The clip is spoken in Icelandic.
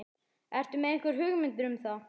Ertu með einhverjar hugmyndir um það?